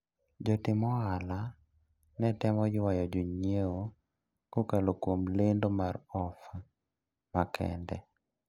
Jotim ohala netemo ywayo jonyiewo kokalo kuom lendo mar ofa makende.